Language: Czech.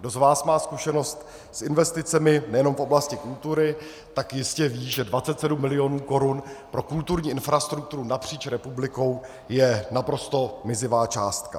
Kdo z vás má zkušenost s investicemi, nejenom v oblasti kultury, tak jistě ví, že 27 mil. korun pro kulturní infrastrukturu napříč republikou je naprosto mizivá částka.